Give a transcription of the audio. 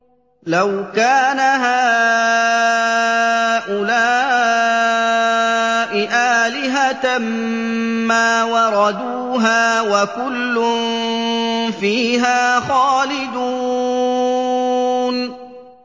لَوْ كَانَ هَٰؤُلَاءِ آلِهَةً مَّا وَرَدُوهَا ۖ وَكُلٌّ فِيهَا خَالِدُونَ